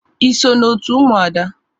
Ị so na otu Ụmụada?